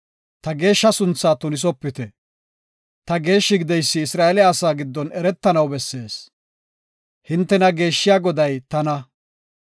Ta geeshsha sunthaa tunisopite. Ta geeshshi gideysi Isra7eele asaa giddon eretanaw bessees. Hintena geeshshiya Goday tana.